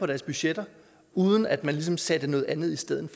deres budgetter uden at man ligesom satte noget andet i stedet